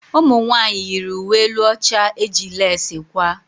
Ụmụnwanyị yiri uwe elu ọcha eji lesi kwaa.